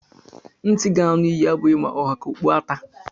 Ntị ga-anụ ihe abụghị ma ọ ha ka okpu ata